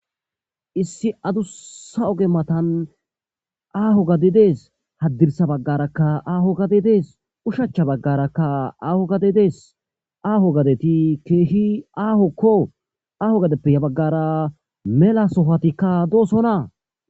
Issi adussa oge matan aaho gadi dees haddirsa baggarakka aaho gadi dees ushacha baggarakka aaho gade dees aaho gadeti keehi aahokko aaho gadeppe ya baggara mela sofatikka doosonaa